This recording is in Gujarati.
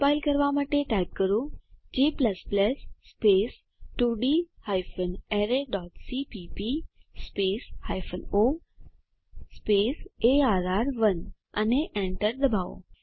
કમ્પાઈલ કરવા માટે ટાઇપ કરો g 2ડી arrayસીપીપી o અર્ર1 અને એન્ટર દબાવો